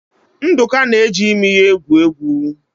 Nduka na-eji imi ya egwu egwu.